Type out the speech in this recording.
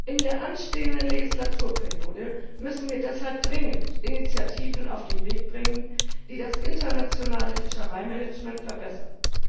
In der anstehenden Legislaturperiode müssen wir deshalb dringend Initiativen auf den Weg bringen, die das internationale Fischereimanagement verbessern.